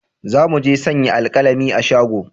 Za mu je sayan alkalami a shago